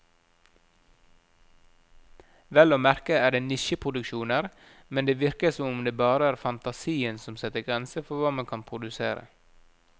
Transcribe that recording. Vel å merke er det nisjeproduksjoner, men det virker som om det bare er fantasien som setter grenser for hva man kan produsere.